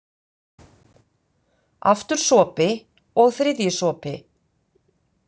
Aftur sopi, og þriðji sopi.